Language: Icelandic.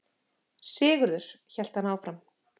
Sigurður, hélt hann áfram.